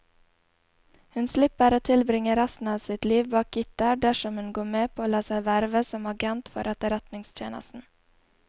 Hun slipper å tilbringe resten av sitt liv bak gitter dersom hun går med på å la seg verve som agent for etterretningstjenesten.